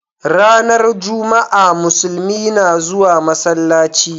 Ranar Juma'a Muslumi na zuwa masallaci.